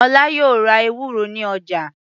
Ọlá yóò ra ewúro ní ọjà.